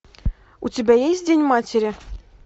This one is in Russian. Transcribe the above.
у тебя есть день матери